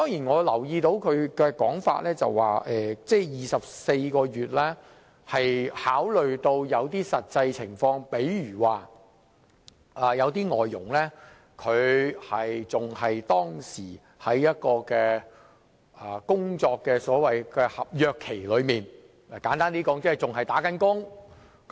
我留意到他的說法指24個月的檢控時限是考慮到實際情況，例如有些外傭仍在合約期內，簡單而言即是仍在為其僱主工作。